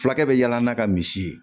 Fulakɛ bɛ yaala n'a ka misi ye